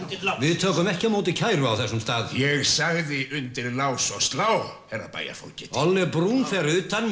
við tökum ekki á móti kæru á þessum stað ég sagði undir lás og slá herra bæjarfógeti ole Bruun fer utan með